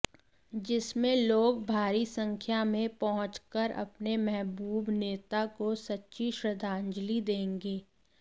जिसमें लोग भारी संख्या में पहुंच कर अपने महबूब नेता को सच्ची श्रद्धांजलि देंगे